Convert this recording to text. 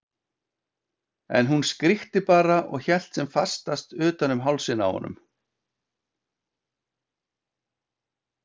En hún skríkti bara og hélt sem fastast utan um hálsinn á honum.